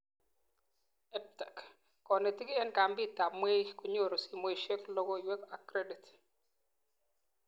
EdTech:Konetik eng kambitab mweik konyoru somoishek, logoiwek ak kredit